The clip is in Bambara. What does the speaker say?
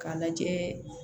K'a lajɛ